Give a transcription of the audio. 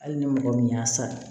Hali ni mɔgɔ min y'a san